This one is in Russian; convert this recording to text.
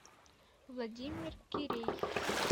владимир кирей